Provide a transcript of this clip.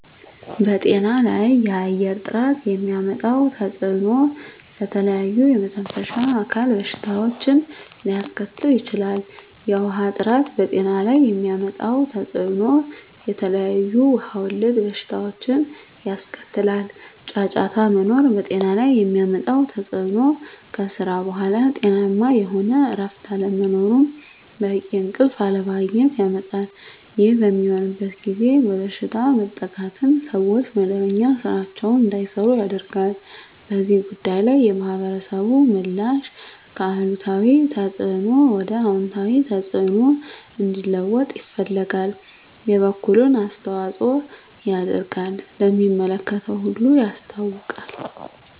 በጤና ላይ የአየር ጥራት የሚያመጣው ተፅዕኖ ለተለያዩ የመተንፈሻ አካል በሽታዎችን ሊያስከትል ይችላል። የውሀ ጥራት በጤና ላይ የሚያመጣው ተፅዕኖ የተለያዩ ውሀ ወለድ በሽታዎችን ያስከትላል። ጫጫታ መኖር በጤና ላይ የሚያመጣው ተፅዕኖ ከስራ በኃላ ጤናማ የሆነ እረፍት አለመኖርን በቂ እንቅልፍ አለማግኘት ያመጣል። ይህ በሚሆንበት ጊዜ በበሽታ መጠቃትን ሰዎች መደበኛ ስራቸዉን እንዳይሰሩ ያደርጋል። በዚህ ጉዳይ ላይ የማህበረሰቡ ምላሽ ከአሉታዊ ተፅዕኖ ወደ አወንታዊ ተፅዕኖ እንዲለወጥ ይፈልጋል የበኩሉን አስተዋፅኦ ያደርጋል ለሚመለከተው ሁሉ ያሳውቃል።